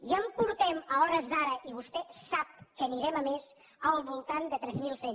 i en portem a hores d’ara i vostè sap que anirem a més al voltant de tres mil cent